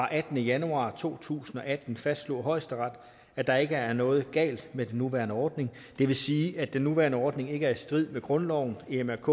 attende januar to tusind og atten fastslog højesteret at der ikke er noget galt med den nuværende ordning det vil sige at den nuværende ordning ikke i strid med grundloven emrk